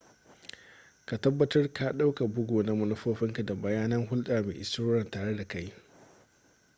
ka tabbatar ka ɗauka bugu na manufofinka da bayanan hulɗar mai inshorar tare da kai